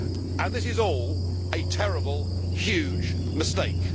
And this is all a terrible, huge mistake.